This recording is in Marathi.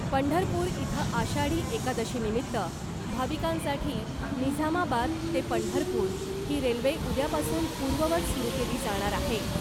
पंढरपूर इथं आषाढी एकादशीनिमित्त भाविकांसाठी निझामाबाद ते पंढरपूर ही रेल्वे उद्यापासून पूर्ववत सुरू केली जाणार आहे .